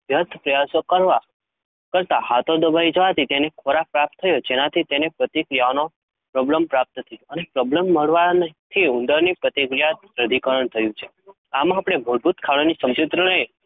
વ્યર્થ પ્રયાસો કરતાં કરતાં હાથો દબાઈ જવાથી તેને ખોરાક પ્રાપ્ત થયો, જેનાથી તેની પ્રતિક્રિયાઓને પ્રબલન પ્રાપ્ત થયું અને પ્રબલન મળવાથી ઉંદરની પ્રતિક્રિયાનું દઢીકરણ થયું. આમાં અપને વધુ ખાવાની સમજુતરને